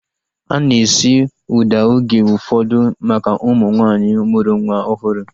Ana esi ụda oge ụfọdụ maka ụmụ nwaanyị mụrụ nwa ọhụrụ